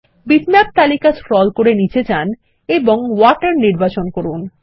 bitmap তালিকা scroll করে নীচে যান এবং ওয়াটার নির্বাচন করুন